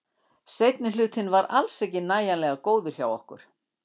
Seinni hlutinn var alls ekki nægilega góður hjá okkur.